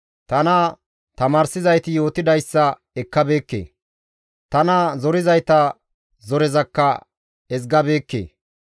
Tana tamaarsizayti yootidayssa ekkabeekke; tana zorizayta zorezakka ezgabeekke.